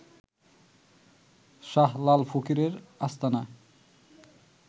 শাহলাল ফকিরের আস্তানার